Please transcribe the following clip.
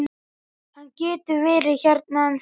Hann getur verið hérna ennþá.